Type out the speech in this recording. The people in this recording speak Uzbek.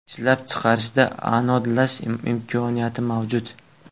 Ishlab chiqarishda anodlash imkoniyati mavjud.